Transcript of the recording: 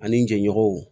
Ani jɛɲɔgɔnw